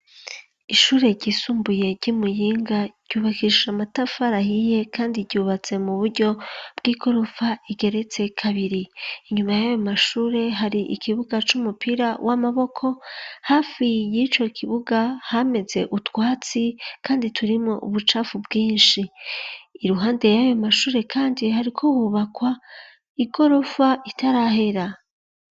Ishure ryisumbuye ry'i Muyinga ryubakisha amatafari ahiye kandi ryubatse mu buryo bw'igorofa igeretse kabiri, inyuma y'ayo mashure hari ikibuga c'umupira w'amaboko, hafi y'ico kibuga hameze utwatsi kandi turimwo ubucafu bwinshi, iruhande y'ayo mashure kandi hariko hubakwa igorofa itarahera.